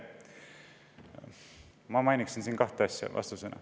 Vastusena mainiksin kahte asja.